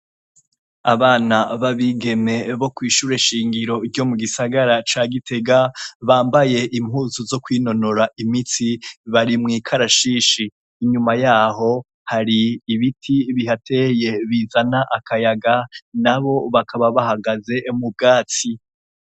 Abana babigeme bo kwishure nshingiro ryo mu gisagara ca Gitega bambaye impunzu zokwinonora imitsi barimwikarashishi inyuma yaho hari ibiti bihateye bizana akayaga nabo bakaba bahagaze mubwatsi.